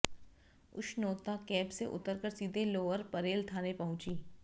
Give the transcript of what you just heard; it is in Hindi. उष्नोता कैब से उतरकर सीधे लोअर परेल थाने पहुंचीं